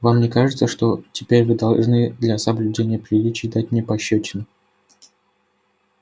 вам не кажется что теперь вы должны для соблюдения приличий дать мне пощёчину